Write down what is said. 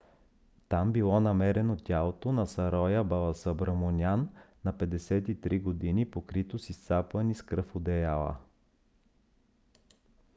там било намерено тялото на сароя баласубраманиан на 53 г. покрито с изцапани с кръв одеяла